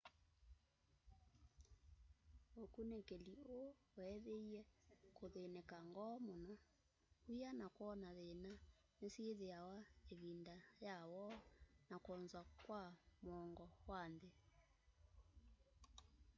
ukunikili ũu weethiie kuthĩnĩka ngoo mũno wia na kwona thina ni syithiawa ivinda ya woo na kwonza kwa mũongo wa nthi